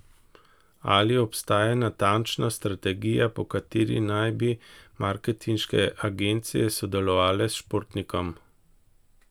Ali obstaja natančna strategija, po kateri naj bi marketinške agencije sodelovale s športnikom?